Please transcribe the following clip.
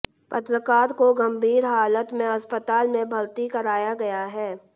पत्रकार को गंभीर हालत में अस्पताल में भर्ती कराया गया है